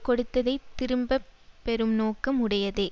கொடுத்ததைத் திரும்ப பெறும் நோக்கம் உடையதே